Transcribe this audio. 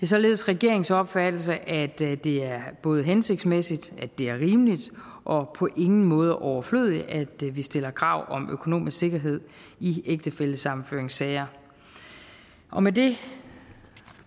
således regeringens opfattelse at det er både hensigtsmæssigt at det er rimeligt og på ingen måde er overflødigt at vi stiller krav om økonomisk sikkerhed i ægtefællesammenføringssager og med det